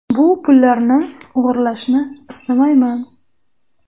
Bu pullarni o‘g‘irlashni istamayman.